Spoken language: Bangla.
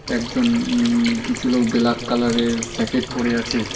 একজন উম কিছু লোক বেলাক কালারের স্যাকেট পরে আছে।